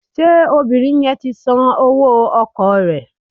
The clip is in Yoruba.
Ṣé obìnrin yẹn ti san owó ọkọ̀ rẹ̀?